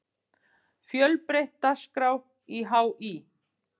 Fjölbreytt dagskrá í HÍ